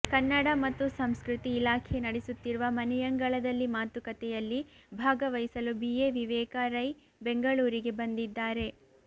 ಕನ್ನಡ ಮತ್ತು ಸಂಸ್ಕೃತಿ ಇಲಾಖೆ ನಡೆಸುತ್ತಿರುವ ಮನೆಯಂಗಳದಲ್ಲಿ ಮಾತುಕತೆಯಲ್ಲಿ ಭಾಗವಹಿಸಲು ಬಿ ಎ ವಿವೇಕ ರೈ ಬೆಂಗಳೂರಿಗೆ ಬಂದಿದ್ದಾರೆ